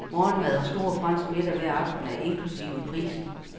Morgenmad og stor fransk middag hver aften er inklusive i prisen.